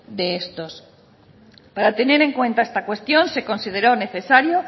de estos para tener en cuenta esta cuestión se consideró necesario